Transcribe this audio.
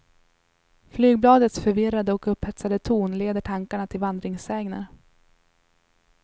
Flygbladets förvirrade och upphetsade ton leder tankarna till vandringssägner.